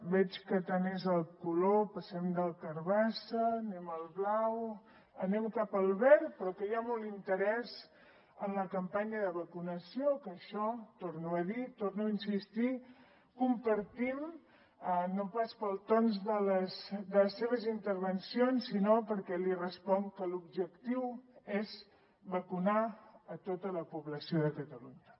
veig que tant és el color passem del carbassa anem al blau anem cap al verd però que hi ha molt interès en la campanya de vacunació que això ho torno a dir hi torno a insistir ho compartim no pas pels tons de les seves intervencions sinó perquè li responc que l’objectiu és vacunar tota la població de catalunya